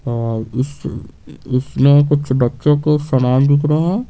और इस इसमें कुछ बच्चे को समान दिख रहे है।